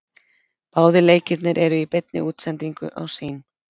Báðir leikirnir eru í beinni útsendingu á Sýn.